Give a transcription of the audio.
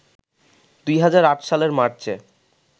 ২০০৮ সালের মার্চে